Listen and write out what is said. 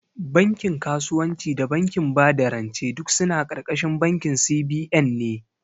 Bankin kasuwanci da bankin bada rance duk suna ƙarƙashin bankin C.B.N ne